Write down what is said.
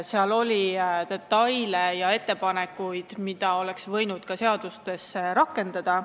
Seal oli detaile ja ettepanekuid, mida oleks võinud ka seaduses rakendada.